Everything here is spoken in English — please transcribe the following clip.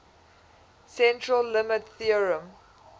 central limit theorem